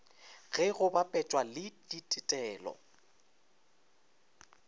ge go bapetšwa le ditetelo